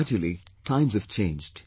But gradually, times have changed